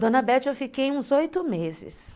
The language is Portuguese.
Dona Bete, eu fiquei uns oito meses.